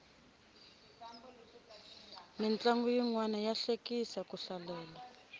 mintlangu yinwani ya hlekisa ku hlalela